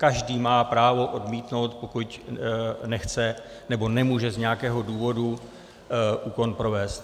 Každý má právo odmítnout, pokud nechce nebo nemůže z nějakého důvodu úkon provést.